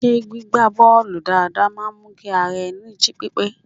Ṣé gbígba bọ́ọ̀lù dáadáa máa ń mú kí ara ẹni jí pípé?